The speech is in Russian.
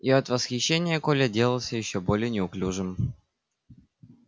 и от восхищения коля делался ещё более неуклюжим